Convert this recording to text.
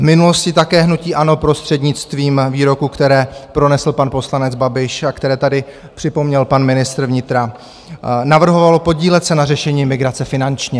V minulosti také hnutí ANO prostřednictvím výroků, které pronesl pan poslanec Babiš a které tady připomněl pan ministr vnitra, navrhovalo podílet se na řešení migrace finančně.